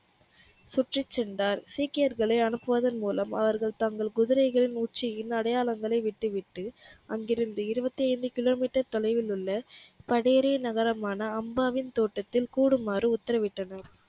சுற்றி சென்றார் சீக்கியர்களை அனுப்புவதன் மூலம் அவர்கள் தங்கள் குதிரைகளின் உச்சியின் அடையாளங்களை விட்டுவிட்டு அங்கிருந்து இருவத்தி ஐந்து கிலோமீட்டர் தொலைவில் உள்ள கடியூரின் நகரமான அம்மாவின் தோட்டத்தில் கூடுமாறு உத்தரவிட்டனர்